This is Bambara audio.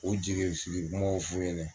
O jigifili kumaw f'u ɲɛna